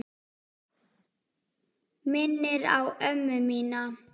Minnir á ömmu mína.